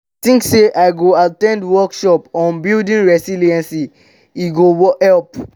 i dey think say i go at ten d workshops on building resilience; e go help.